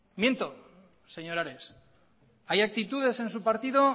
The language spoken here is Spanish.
miento señor ares hay actitudes en su partido